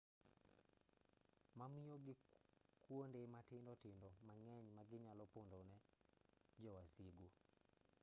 ma miyo gi kuonde matindo tindo mang'eny ma ginyalo pondone jo wasigu